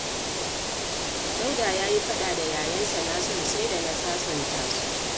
Dauda ya yi faɗa da yayansa Nasiru, sai da na sasanta su